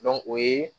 o ye